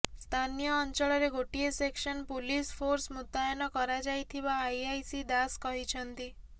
ସ୍ଥାନୀୟ ଅଞ୍ଚଳରେ ଗୋଟିଏ ସେକ୍ସନ୍ ପୁଲିସ ଫୋର୍ସ ମୁତୟନ କରାଯାଇଥିବା ଆଇଆଇସି ଦାଶ କହିଛନ୍ତି